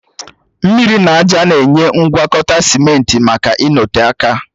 Mmiri na ájá na-enye aka ịgwọkọta simenti maka ịnọte aka